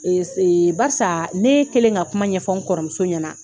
barisa ne kɛlen ka kuma ɲɛfɔ n kɔrɔmuso ɲɛna.